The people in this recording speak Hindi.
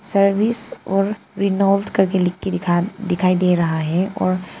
सर्विस और रेनॉल्ट करके लिख के दिखा दिखाई दे रहा है और--